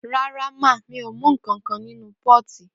Ràrá ma, mi o mú kànkàn ninu pọti